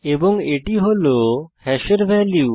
এবং এটি হল হ্যাশের ভ্যালু